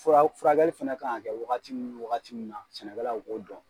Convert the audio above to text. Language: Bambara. Fura furakɛli fɛnɛ kan ka kɛ wagati ni wagati min na sɛnɛkɛlaw b'o dɔn.